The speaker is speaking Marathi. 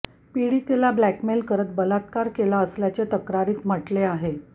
पीडितेला ब्लॅकमेल करत बलात्कार केला असल्याचे तक्रारीत म्हटले आहे